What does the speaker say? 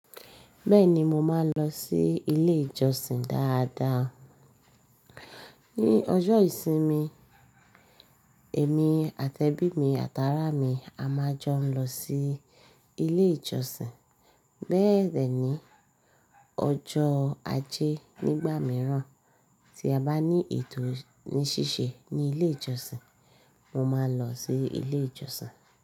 Bẹ́ẹ̀ni mo máa ń lọ sí ilé ìjọsìn dáadáa. Ni ọjọ́ ìsinmi èmi àti ẹbí mi, àtàrà mi a máa jọ ń lọ sí ilé ìjọsìn. Bẹ́ẹ̀ dẹ̀ ni, ọjọ́ ajé nígbà mìíràn tí a bá ní ètò ní ṣíṣe ní ilé ìjọsìn, mo máa ń lọ sí ilé ìjọsìn.